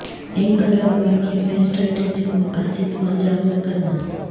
ایک الگ واقعے میں اسٹریٹجک مقاصد کو اجاگر کرنا